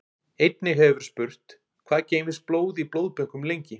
Einnig hefur verið spurt: Hvað geymist blóð í blóðbönkum lengi?